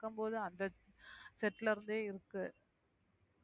இருக்கும்போது அந்த set ல இருந்தே இருக்கு